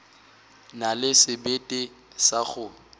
na le sebete sa go